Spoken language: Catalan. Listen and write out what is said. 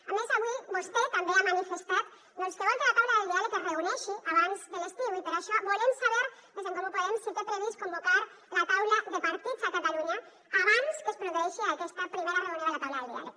a més avui vostè també ha manifestat doncs que vol que la taula del diàleg es reuneixi abans de l’estiu i per això volem saber des d’en comú podem si té previst convocar la taula de partits a catalunya abans que es produeixi aquesta primera reunió de la taula del diàleg